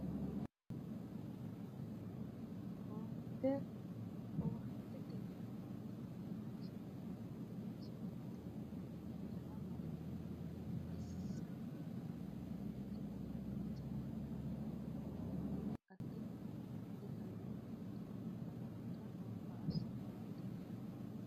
Owaante owaantete yineemmoti manchi mitte hajara mare xissameno ikko babbaxxitino hajara mare marinore afire higannoha konne baalankare gamba assine owaantete yineemmo